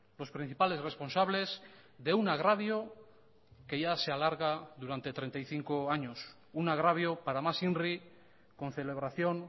los principales responsables de un agravio que ya se alarga durante treinta y cinco años un agravio para más inri con celebración